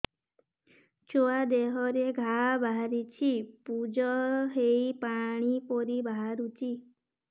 ଛୁଆ ଦେହରେ ଘା ବାହାରିଛି ପୁଜ ହେଇ ପାଣି ପରି ବାହାରୁଚି